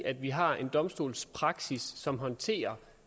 at vi har en domstolspraksis som håndterer